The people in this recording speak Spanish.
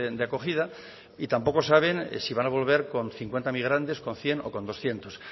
de acogida y tampoco saben si van a volver con cincuenta migrantes con cien o con doscientos